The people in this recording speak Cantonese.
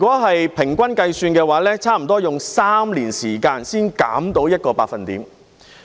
按平均計算，差不多要花3年時間才能減少 1%。